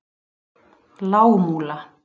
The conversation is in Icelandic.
Lágmúla